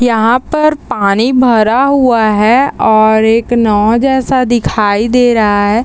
यहाँ पर पानी भरा हुआ है और एक नाओ जैसा दिखाई दे रहा है।